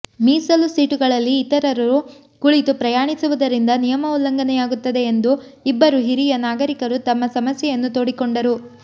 ಮೀಸಲು ಸೀಟುಗಳಲ್ಲಿ ಇತರರು ಕುಳಿತು ಪ್ರಯಾಣಿಸುವುದರಿಂದ ನಿಯಮ ಉಲ್ಲಂಘನೆಯಾಗುತ್ತದೆ ಎಂದು ಇಬ್ಬರು ಹಿರಿಯ ನಾಗರಿಕರು ತಮ್ಮ ಸಮಸ್ಯೆಯನ್ನು ತೋಡಿಕೊಂಡರು